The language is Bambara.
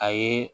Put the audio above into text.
A ye